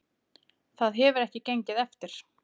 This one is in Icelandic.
Það hefur ekki gengið eftir